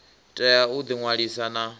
tea u ḓi ṅwalisa na